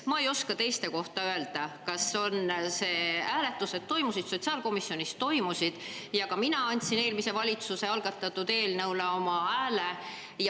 Ma ei oska teiste komisjonide kohta öelda, aga sotsiaalkomisjonis toimusid hääletused ja ka mina andsin eelmise valitsuse algatatud eelnõule oma hääle.